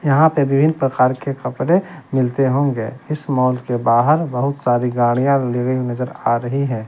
यहां पे विभिन प्रकार के कपड़े मिलते होंगे इस मॉल के बाहर बहुत सारी गाड़ियां लिविंग नजर आ रही हैं।